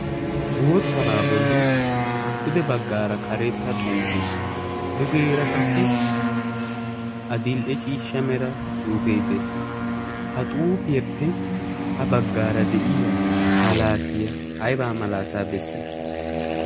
boottabaa bolli pude baggaara karetta xuufe dugeera qassi a dil77e ciishsha mera xuufee dees. ha xuufiyaeppe ha baggaara de7iya malaatiyaa aibaa malaataa bessay?